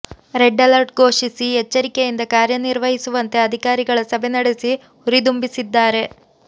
red alert ಘೋಷಿಸಿ ಎಚ್ಚರಿಕೆಯಿಂದ ಕಾರ್ಯನಿರ್ವಹಿಸುವಂತೆ ಅಧಿಕಾರಿಗಳ ಸಭೆ ನಡೆಸಿ ಹುರುದುಂಬಿಸಿದ್ದಾರೆ